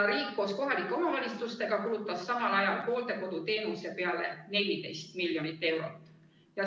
Riik koos kohalike omavalitsustega kulutas samal ajal hooldekoduteenuse peale 14 miljonit eurot.